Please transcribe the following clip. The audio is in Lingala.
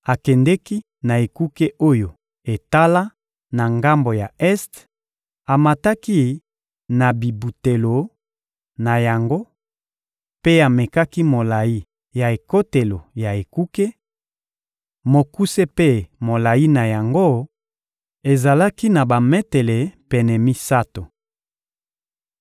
Akendeki na ekuke oyo etala na ngambo ya este, amataki na bibutelo na yango mpe amekaki molayi ya ekotelo ya ekuke: mokuse mpe molayi na yango ezalaki na bametele pene misato.